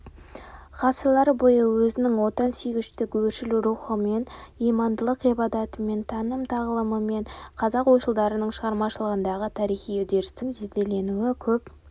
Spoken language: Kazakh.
ғасырлар бойы өзінің отансүйгіштік өршіл рухымен имандылық ғибратымен таным тағылымымен қазақ ойшылдарының шығармашылығындағы тарихи үдерістің зерделенуі көп